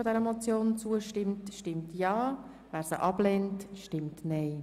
Wer die Motion annimmt, stimmt Ja, wer sie ablehnt, stimmt Nein.